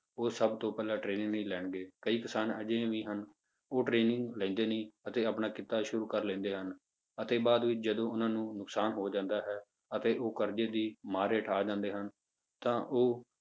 ਉਹ ਸਭ ਤੋਂ ਪਹਿਲਾਂ training ਨੀ ਲੈਣਗੇ ਕਈ ਕਿਸਾਨ ਅਜਿਹੇ ਵੀ ਹਨ, ਉਹ training ਲੈਂਦੇ ਨੀ ਅਤੇ ਆਪਣਾ ਕਿੱਤਾ ਸ਼ੁਰੂ ਕਰ ਲੈਂਦੇ ਹਨ, ਅਤੇ ਬਾਅਦ ਵਿੱਚ ਜਦੋਂ ਉਹਨਾਂ ਨੂੰ ਨੁਕਸਾਨ ਹੋ ਜਾਂਦਾ ਹੈ ਅਤੇ ਉਹ ਕਰਜੇ ਦੀ ਮਾਰ ਹੇਠਾਂ ਆ ਜਾਂਦੇ ਹਨ ਤਾਂ ਉਹ